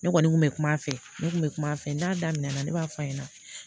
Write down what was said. Ne kɔni kun bɛ kuma a fɛ ne kun bɛ kuma a fɛ n t'a damina ne b'a f'a ɲɛna